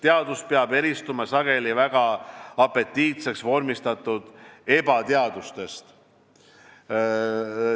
Teadus peab eristuma sageli väga apetiitseks vormistatud ebateadustest.